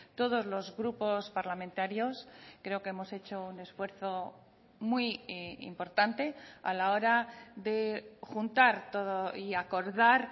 todos los grupos parlamentarios creo que hemos hecho un esfuerzo muy importante a la hora de juntar todo y acordar